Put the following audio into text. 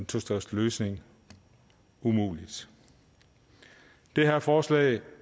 tostatsløsning umulig det her forslag